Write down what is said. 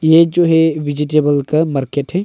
ये जो है वेजिटेबल का मार्केट है।